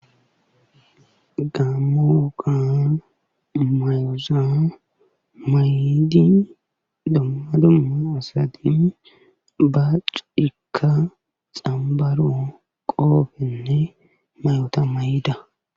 Gaamo woga myoza maidi dumma dumma asati gaacekka xambbarao qoriyankka huuphiya qoobenne mayota mayida.